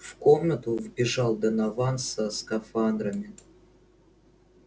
в комнату вбежал донован со скафандрами